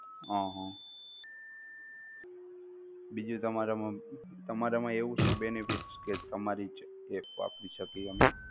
હમ બીજુ તમારામાં શું benefit કે તમારી જ app અમે વાપરી શકીએ?